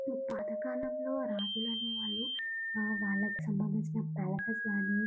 పాతకాలంలో రాజులూ అనేవాళ్ళు వాళ్లకు సంబంచిందినా పాలాసిస్ అన్ని --